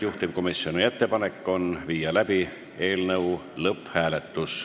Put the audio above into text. Juhtivkomisjoni ettepanek on panna eelnõu lõpphääletusele.